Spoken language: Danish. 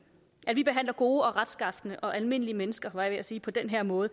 at vi behandler gode og retskafne og almindelige mennesker var jeg ved at sige på den her måde